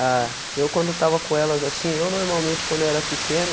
Ah, eu quando estava com elas assim, eu normalmente quando eu era pequeno,